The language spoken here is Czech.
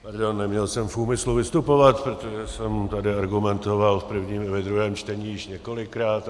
Neměl jsem v úmyslu vystupovat, protože jsem tady argumentoval v prvním i ve druhém čtení již několikrát.